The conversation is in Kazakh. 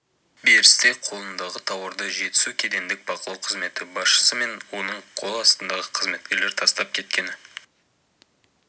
берісте қолындағы тауарды жетісу кедендік бақылау қызметі басшысы мен оның қол астындағы қызметкерге тастап кеткені